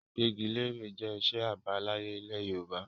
Gbígbẹ́gilẹ́re jẹ́ iṣẹ́ àbáláyé ilẹ̀ Yorùbá